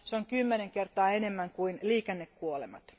Se on kymmenen kertaa enemmän kuin liikennekuolemat.